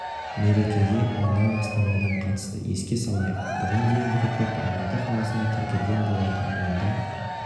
мерекеге мыңнан астам адам қатысты еске салайық бұған дейінгі рекорд алматы қаласында тіркелген болатын онда